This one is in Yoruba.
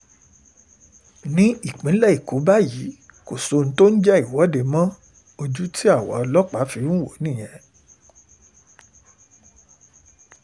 nípínlẹ̀ èkó báyìí kò sí ohun tó ń jẹ́ ìwọ́de mọ́ ojú tí àwa ọlọ́pàá fi ń wò ó nìyẹn